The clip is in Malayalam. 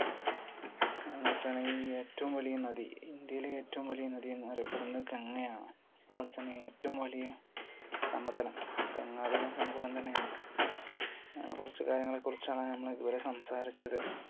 നോക്കണെങ്കിൽ ഏറ്റവും വലിയ നദി? ഇന്ത്യയിലെ ഏറ്റവും വലിയ നദി എന്നറിയപ്പെടുന്നത് ഗംഗയാണ്. അതുപോലതന്നെ ഏറ്റവും വലിയ സമതലം? ഗംഗാതലം സമതലം തന്നെയാണ്. അങ്ങനെ കുറച്ചു കാര്യങ്ങളെക്കുറിച്ചാണ് നമ്മൾ ഇതുവരെ സംസാരിച്ചത്.